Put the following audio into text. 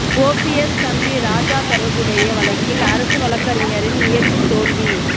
OPS தம்பி ராஜா தொடர்புடைய வழக்கில் அரசு வழக்கறிஞரின் முயற்சி தோல்வி